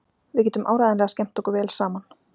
Við getum áreiðanlega skemmt okkur vel saman.